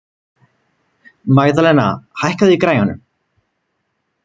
Magðalena, hækkaðu í græjunum.